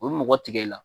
U bɛ mɔgɔ tigɛ i la